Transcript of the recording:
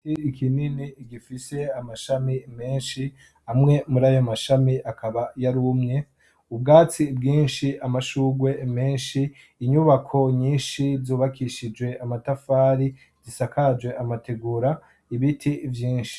Igiti kinini gifis' amashami menshi, amwe murayo masham' akaba yarumye, ubwatsi bwinshi buringaniye, amashugwe mensh' atonz' umurongo, inyubako nyinshi zubakishijwe n' amatafari zisakaj' amatigura, inyuma y' inyubako har' ibiti vyinshi birebire.